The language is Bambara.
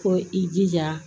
Ko i jija